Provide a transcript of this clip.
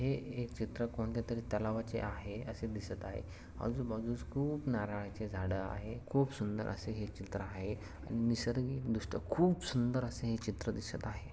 हे चित्र कोणत्या तरी तलावाचे आहे असे दिसत आहे आबजूबाजूस खूप नारळाचे झाडं आहे खूप सुंदर असे हे चित्र आहे आणि निसरगीक खूप सुंदर असे हे चित्र दिसत आहे.